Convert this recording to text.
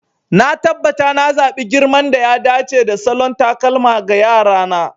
Na tabbata na zaɓi girman da ya dace da salon takalma ga Yara na.